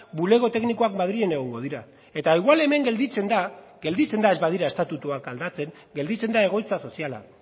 bulego teknikoak madrilen egongo dira eta igual hemen gelditzen da gelditzen da ez badira estatutuak aldatzen gelditzen da egoitza soziala